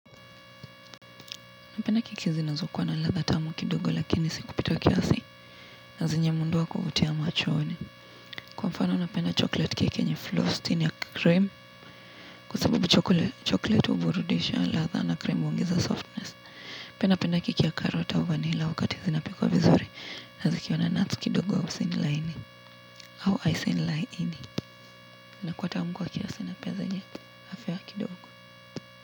Napenda keki zinazokwa na latha tamu kidogo lakini si kupita kiasi na zenye muondo wa kuvutia machoni. Kwa mfano napenda chocolate cake yenye frosting ya cream. Kwa sabubu chocolate uburudisha latha na cream huongeza softness. Pia napenda kiki ya carrot au vanilla wakati zinapikwa vizuri. Nazikiwa na nuts kidogo au si nilaini. Au icing laini. Nakuwa tamu kwa kiasi na pia zenye. Afya kidogo.